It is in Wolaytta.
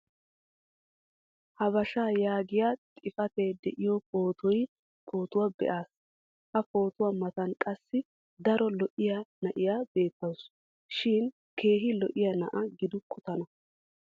habeshshaa yaagiyaa xifatee diyo pootuwa be'ays. ha pootuwa matan qassi daro lo'iya na'iya beetawusu. shin keehi lo'iya na'a gidukku tana.